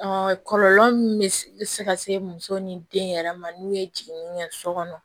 kɔlɔlɔ min bɛ se ka se muso ni den yɛrɛ ma n'u ye jiginni kɛ so kɔnɔ